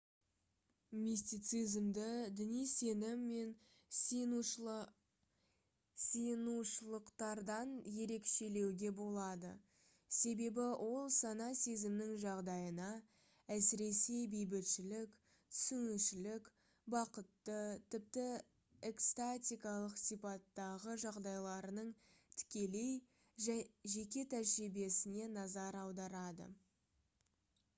мистицизмді діни сенім мен сиынушылықтардан ерекшелеуге болады себебі ол сана-сезімнің жағдайына әсіресе бейбітшілік түсінушілік бақытты тіпті экстатикалық сипаттағы жағдайларының тікелей жеке тәжірибесіне назар аударады